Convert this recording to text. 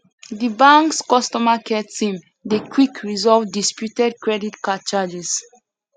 di banks customer care team dey quick resolve disputed credit card charges